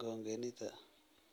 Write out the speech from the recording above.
congenita.